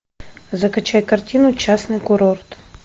закачай картину частный курорт